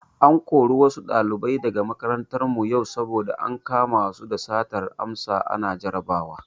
An kori wasu ɗalibai daga makarantar mu yau saboda ankama su da satar amsa ana jarabawa.